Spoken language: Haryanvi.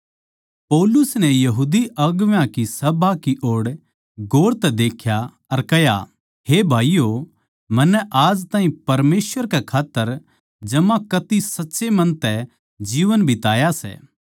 पौलुस नै बड्डी सभा की ओड़ गौर तै देख्या अर कह्या हे भाईयो मन्नै आज ताहीं परमेसवर कै खात्तर जमाकती साच्चे मन तै जीवन बिताया सै